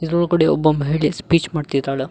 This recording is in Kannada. ಇದರೊಳಗಡೆ ಒಬ್ಬ ಮಹಿಳೆ ಸ್ಪೀಚ್ ಮಾಡ್ತಿದ್ದಾಳ.